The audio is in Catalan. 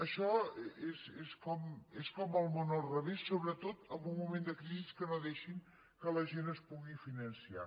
això és com el món al revés sobretot en un moment de crisi que no deixin que la gent es pugui finançar